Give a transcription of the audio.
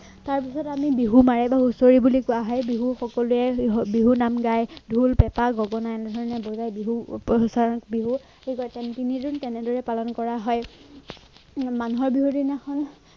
তাৰপাছত আমি বিহু মাৰিব হুচৰি বুলি কোৱা হয় বিহু সকলোৱে বিহু বিহু নাম গায় ঢোল পেপা গগনা এনেহেনে বজাই বিহু বিহু ঠিক তিনিদিন তেনেদৰে পালন কৰা হয় মানুহৰ বিহু দিনাখন